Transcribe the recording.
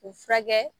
U furakɛ